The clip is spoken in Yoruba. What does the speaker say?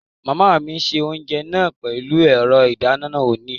Màmá mi se oúnjẹ náà pẹ̀lú ẹ̀rọ ìdáná oníná